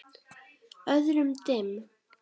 Öðrum dimm.